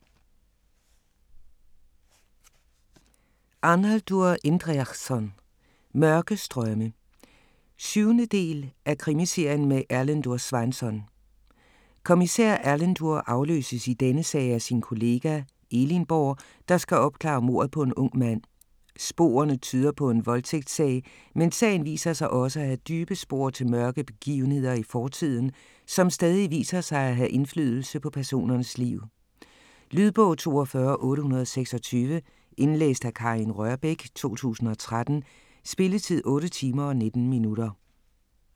Arnaldur Indriðason: Mørke strømme 7. del af Krimiserien med Erlendur Sveinsson. Kommissær Erlendur afløses i denne sag af sin kollega, Elinborg, der skal opklare mordet på en ung mand. Sporene tyder på en voldtægtssag, men sagen viser sig også at have dybe spor til mørke begivenheder i fortiden, som stadig viser sig at have indflydelse på personernes liv. Lydbog 42826 Indlæst af Karin Rørbech, 2013. Spilletid: 8 timer, 19 minutter.